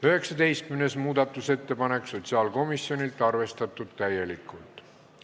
19. muudatusettepanek sotsiaalkomisjonilt, arvestatud täielikult.